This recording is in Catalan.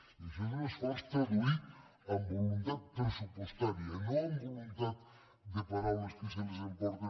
i això és un esforç traduït en voluntat pressupostària no en voluntat de paraules que se les emporten